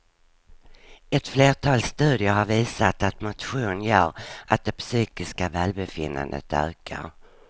Ett flertal studier har visat att motion gör att det psykiska välbefinnandet ökar.